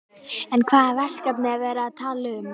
En hvaða verkefni er verið að tala um?